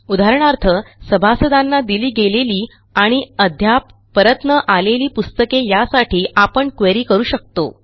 उदाहरणार्थ सभासदांना दिली गेलेली आणि अद्याप परत न आलेली पुस्तके यासाठी आपणquery करू शकतो